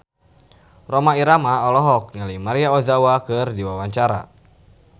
Rhoma Irama olohok ningali Maria Ozawa keur diwawancara